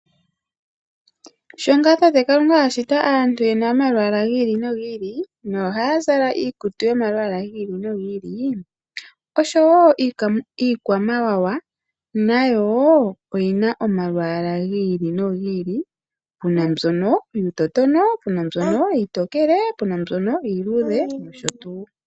Sho tata Kalunga ashita aantu yena omalwala gi ili nogi ili nohaya zala iikutu yomalwala gi ili nogi ili niikwamawawa nayo oyina omalwala gi ili nogi ili puna mbyono yuutotono, puna mbyono iitokele puna mbyono iiludhe nosho tuu.